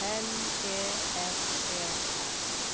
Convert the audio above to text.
L E S E R